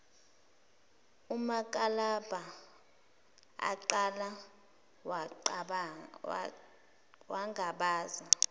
umakalabha aqala wangabaza